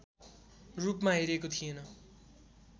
रूपमा हेरिएको थिएन